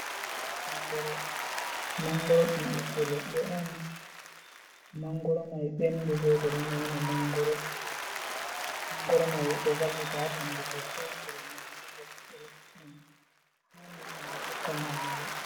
Mangoro, mangoro ɗum ɓiɓɓe leɗɗe on, mangoro mai ɓendi ɗo ɓe ɗo nyama mangoro mai ɗo vallita haɓandu sosai bo nyama ɓenda ɓiɓɓe leɗɗe on handi himɓe tokka nyamago.